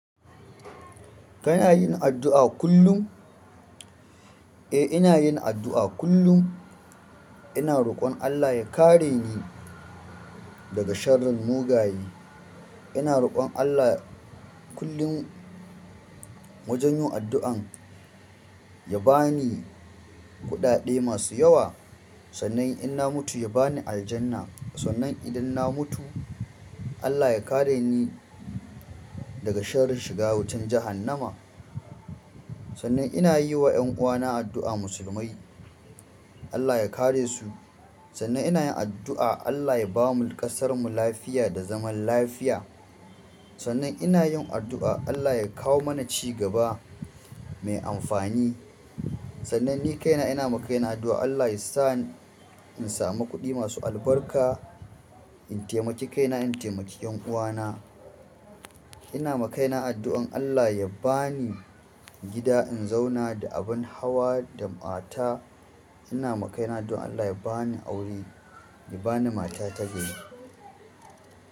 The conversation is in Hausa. Kana yin addu'a kullum? Eh, ina yin addu'a kullum. Ina roƙon Allah ya kare ni daga sharrin mugaye. Ina roƙon Allah kullum wajen yin addu'an ya ba ni kuɗaɗe masu yawa. Sannan in na mutu, ya ba ni aljanna. Sannan idan na mutu, Allah ya kare ni daga sharrin shiga wutan jahannama. Sannan ina yi wa 'yan uwana addu'a. Musulmai, Allah ya kare su. Sannan ina yin addu'a Allah ya ba mu ƙasarmu lafiya da zaman lafiya. Sannan ina yin addu'a Allah ya kawo mana cigaba mai amfani. Sannan ni kaina ina ma kaina addu'a Allah ya sa in samu kuɗi masu albarka, in taimaki kaina, in taimaki 'yan uwana. Ina ma kaina addu'an Allah ya ba ni gida in zauna da abin hawa da mata. Ina ma kaina addu'an Allah ya ba ni aure, ya ba ni mata tagari.